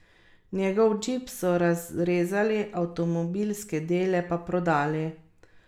Njegov džip so razrezali, avtomobilske dele pa prodali.